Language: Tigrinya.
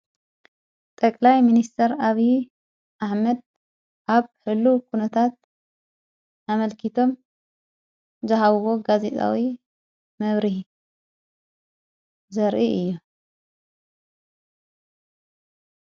ጠቕላይ ምንስተር ኣብዪ ኣሕመድ ዓብ ሕሉ ኲነታት ኣመልኪቶም ዝሃውዎ ጋዜጣዊ መብሪህ ዘርኢ እዩ።